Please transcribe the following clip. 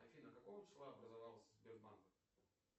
афина какого числа образовался сбербанк